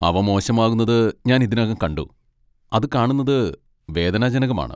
അവ മോശമാകുന്നത് ഞാൻ ഇതിനകം കണ്ടു, അത് കാണുന്നത് വേദനാജനകമാണ്.